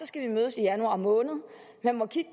skal mødes i januar måned man må kigge